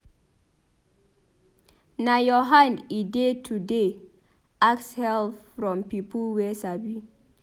Na your hand e dey to dey ask help from pipo wey sabi.